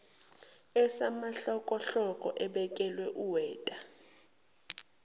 esamahlokohloko ebekela uweta